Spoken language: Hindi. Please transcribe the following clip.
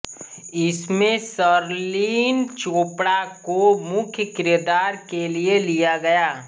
इसमें शर्लिन चोपड़ा को मुख्य किरदार के लिए लिया गया